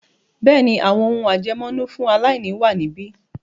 Bẹ́ẹ̀ni, “àwọn ohùn àjẹmọ́nú fún aláìní ” wà níbí.